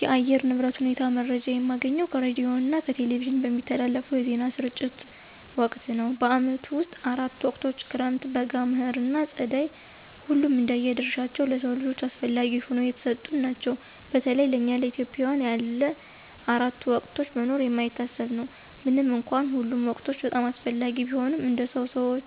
የአየር ንብረት ሁኔታ መረጃ የማገኘው ከሬዲዮና ከቴሌቪዥን በሚተላለፉ የዜና ስርጭት ወቅት ነው። በዓመቱ ውስጥ አራት ወቅቶች ክረምት፣ በጋ፣ መኸር ና ፀደይ ሁሉም እንደየ ድርሻቸው ለሰው ልጆች አስፈለጊ ሁነው የተሰጡን ናቸው። በተለይ ለእኛ ኢትዮጵያውያን ያለ አራቱ ወቅቶች መኖር የማይታሰብ ነው። ምንም እንኳን ሁሉም ወቅቶች በጣም አስፈላጊ ቢሆኑም እንደ ሰው ሰዎኛ